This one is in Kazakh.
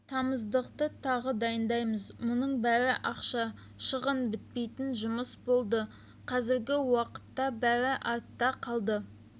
тамызықты тағы дайындаймыз мұның бәрі ақша шығын бітпейтін жұмыс болды қазіргі уақытта бәрі артта қалды